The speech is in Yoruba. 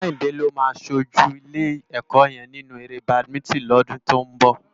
Kehinde ló má ṣójú ilé èkò yèn ninú éré bádimintin lòdún tó n bò